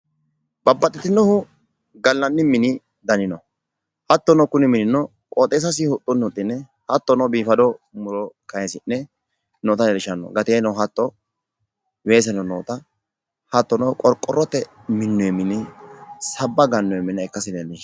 babaxxinohu gallanni mini dani no. hattono kuni minino qooxeessasi huxxunni huxxine hattono biifado muro kayisi'ne noota leellishanno. Gateeno hatto weeseno noota hattono qorqorote minnoyi mini sabba gannoyi mine ikkasi leellishshanno.